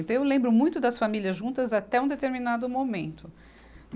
Então, eu lembro muito das famílias juntas até um determinado momento.